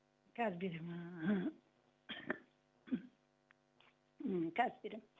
қазір беремін қазір беремін